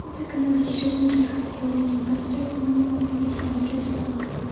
ну так она в очередной раз хотела меня обосрать но видимо не придумала